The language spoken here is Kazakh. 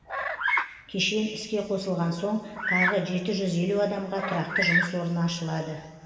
кешен іске қосылған соң тағы жеті жүз елу адамға тұрақты жұмыс орны ашылады